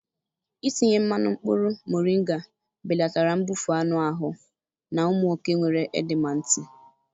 Itinye mmanụ mkpụrụ mọrịnga belatara mbufụt anụ ahụ na ụmụ oke nwere edema ntị.